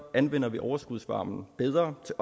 anvender vi overskudsvarmen bedre til